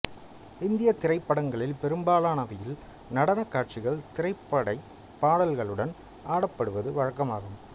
இந்தியத் திரைப்படங்களில் பெரும்பாலானவையில் நடனக் காட்சிகள் திரைப்படப் பாடல்களுடன் ஆடப்படுவது வழக்கமாகும்